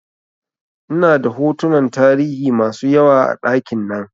Ina da hotunan tarihi masu yawa a ɗakin nan